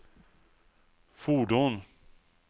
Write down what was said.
fordon